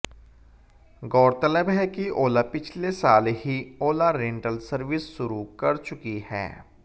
गौरतलब है कि ओला पिछले साल ही ओला रेंटल सर्विस शुरू कर चुकी है